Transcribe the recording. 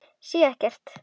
Sé ekkert.